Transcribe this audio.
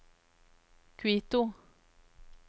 Quito